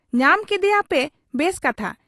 ᱧᱟᱢ ᱠᱮᱫᱮᱭᱟᱭ ᱵᱮᱥ ᱠᱟᱛᱷᱟ ᱾